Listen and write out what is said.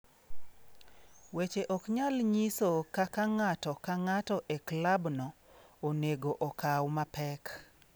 Weche ok nyal nyiso kaka ng'ato ka ng'ato e klabno, onego okaw mapek.